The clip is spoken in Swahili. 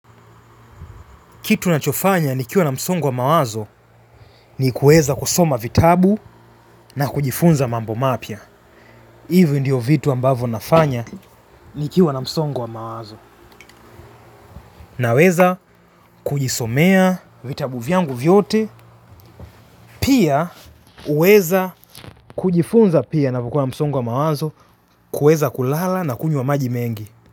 Kitu ninachofanya nikiwa na msongo wa mawazo ni kuweza kusoma vitabu na kujifunza mambo mapya. Hivi ndivyo vitu ninafanya nikiwa na msongo wa mawazo. Na weza kujisomea vitabu vyangu vyote. Pia huweza kujifunza pia ninapokuwa na msongo wa mawazi. Kuweza kulala na kunywa maji mengi.